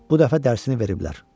Bu dəfə dərsini veriblər.